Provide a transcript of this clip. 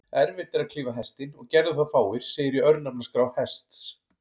Erfitt er að klífa Hestinn, og gerðu það fáir, segir í örnefnaskrá Hests.